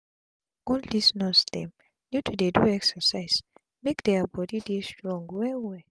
all dis nurse dem need to dey do exercise make dia bodi dey strong well well